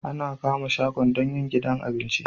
Ana kama shago don yin gidan abinci